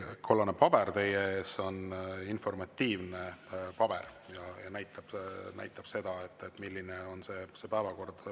See kollane paber teie ees on informatiivne paber ja näitab seda, milline on päevakord.